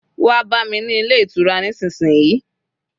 Wa bami ni Ile itura nisisiyi!